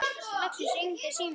Loksins hringdi síminn.